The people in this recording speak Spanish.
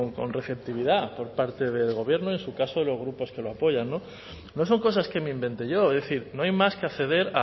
con receptividad por parte del gobierno en su caso los grupos que lo apoyan no son cosas que me invente yo es decir no hay más que acceder